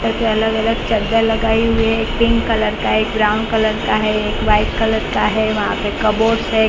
सब पे अलग-अलग चदर लगाई हुई है एक पिंक कलर का है एक ब्राउन कलर का है एक व्हाईट कलर का है वहा पे कपबर्ड्स है।